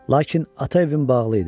Lakin ata evin bağlı idi.